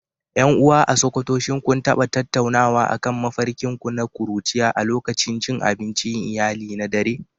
Yan uwa a sokoto shin kun taba tattaunawa akan mafarkin ku na kuruciya a lokacin cin abincin iyali na dare?